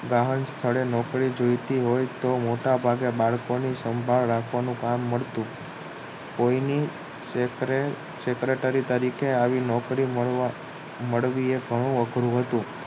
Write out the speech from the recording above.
રાહુલ તારે નોકરી જોતી હોય તો બાળકોને સંભાર રાખવાનું કામ મળતું કોઈને Secretary તરીકે આવી નોકરી મેળવી એ ઘણું અઘરું હતું